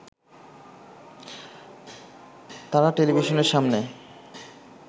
তারা টেলিভিশনের সামনে